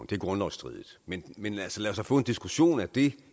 det er grundlovsstridigt men men lad os da så få en diskussion af det